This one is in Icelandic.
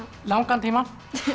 langan tíma